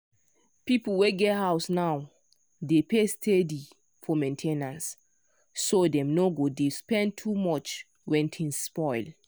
people wey get house now dey pay steady for main ten ance so dem no go dey spend too much when things spoil.